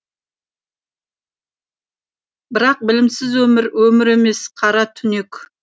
бірақ білімсіз өмір өмір емес қара түнек